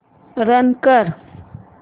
run कर